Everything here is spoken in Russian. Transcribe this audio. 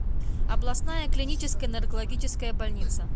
областная клиническая наркологическая больница